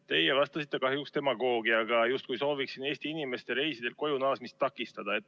Teie vastasite kahjuks demagoogiaga, justkui ma sooviksin Eesti inimeste reisidelt koju naasmist takistada.